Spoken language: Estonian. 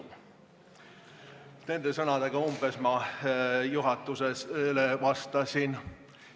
Umbes selliste sõnadega ma juhatusele vastasin.